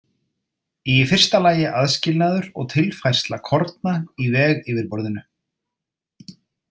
Í fyrsta lagi aðskilnaður og tilfærsla korna í vegyfirborðinu.